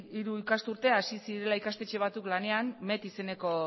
hiru ikasturte hasi zirela ikastetxe batzuk lanean met izeneko